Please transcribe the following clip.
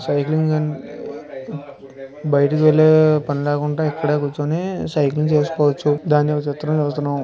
బయటికి వెళ్లే పని లేకుండా ఇక్కడే కూర్చుని సైకిల్ చేసుకోవచ్చు--